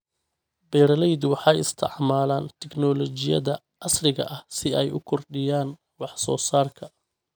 Beeraleydu waxay isticmaalaan tignoolajiyada casriga ah si ay u kordhiyaan wax soo saarka.